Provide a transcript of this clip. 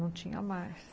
Não tinha mais.